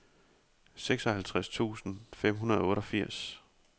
seksoghalvtreds tusind fem hundrede og otteogfirs